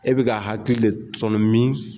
E bɛ k'a hakili de tɔnɔmin.